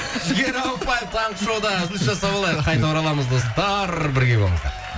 жігер ауыпбаев таңғы шоуда үзіліс жасап алайық қайта ораламыз достар бірге болыңыздар